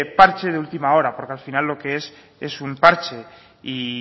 parche de última hora porque al final lo que es es un parche y